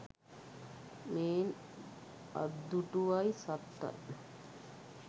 මේන් අත්දුටුවයි සත්තයි